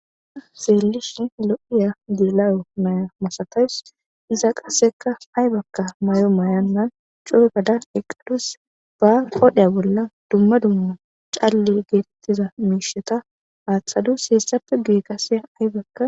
Xelishin lo'iza gela'o naya masatawus iza qaseka ayibako mayo mayonta eqadus ba qodhe bolla duma duma cale getetizaysa qodhen athadus hesappe gyue aybaka